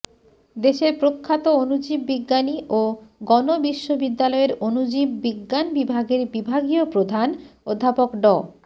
দেশের প্রখ্যাত অনুজীব বিজ্ঞানী ও গণবিশ্ববিদ্যালয়ের অনুজীব বিজ্ঞান বিভাগের বিভাগীয় প্রধান অধ্যাপক ড